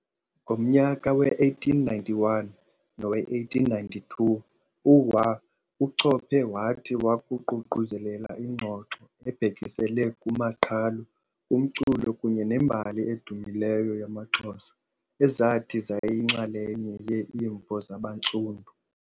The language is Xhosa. Ngomnyaka we-1891 nowe-1892, uWauchope wathi wakuququzelela ingxoxo ebhekisele kumaqhalo, kumculo kunye nembali edumileyo yamaXhosa, ezathi zayinxalenye ye-Imvo Zabanstundu.